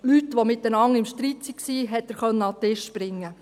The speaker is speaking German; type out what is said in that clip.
Leute, die miteinander im Streit waren, konnte er an einen Tisch bringen.